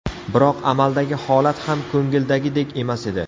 Biroq amaldagi holat ham ko‘ngildagidek emas edi.